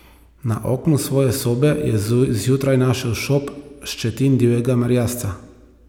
Na oknu svoje sobe je zjutraj našel šop ščetin divjega merjasca.